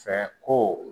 Fɛ ko